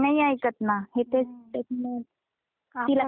त्यांना कितीही अडवल तरी ते खेळतातच.